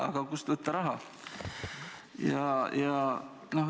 Aga kust võtta raha?